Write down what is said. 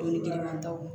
Dumuni girinman taw